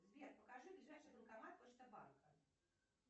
сбер покажи ближайший банкомат почта банка